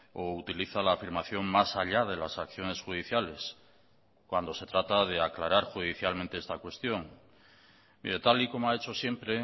o utiliza la afirmación más allá de las acciones judiciales cuando se trata de aclarar judicialmente esta cuestión mire tal y como ha hecho siempre